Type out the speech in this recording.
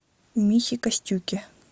михе костюке